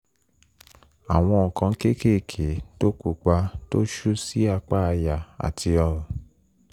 àwọn nǹkan kéékèèké pupa tó ṣú sí apá àyà àti ọrùn